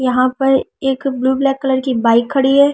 यहां पर एक ब्लू ब्लैक कलर की बाइक खड़ी है।